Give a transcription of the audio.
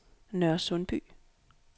Nørresundby